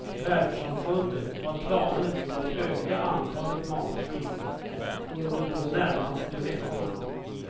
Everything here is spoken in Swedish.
Världssamfundet har planer på att öka antalet matflyg under de närmaste veckorna.